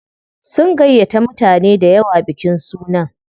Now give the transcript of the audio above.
Sun gayyata mutane dayawa bikin sunan.